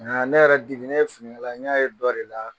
Nka ne yɛrɛ Diri ye finikala n y'a ye dɔ de la